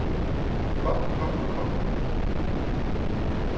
kommer kommer kommer